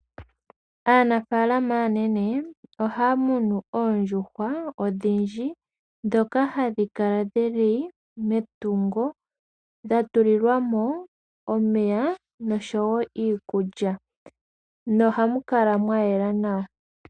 Aanafaalama aanene ohaya munu oondjuhwa odhindji ndhoka hadhi kala dhili metungo dha tulilwa mo omeya nosho wo wo iikulya nohamu kala mwa yela nawa.